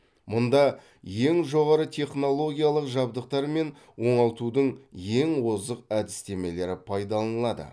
мұнда ең жоғары технологиялық жабдықтар мен оңалтудың ең озық әдістемелері пайдаланылады